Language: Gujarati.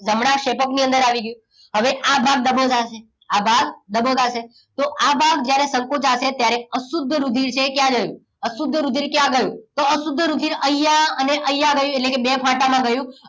જમણા ક્ષેપક ની અંદર આવી ગયું હવે આ ભાગ દબોચાશે આ ભાગ દબોચાસે તો આ ભાગ જ્યારે સંકોચાશે ત્યારે અશુદ્ધ રુધિર છે એ ક્યાં ગયું તો અશુદ્ધ રુધિર અહીંયા અને અહીંયા રહ્યું એટલે કે બે ફાટામાં ગયું